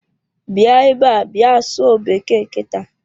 Bịa ebe a bịa sụọ bekee kita.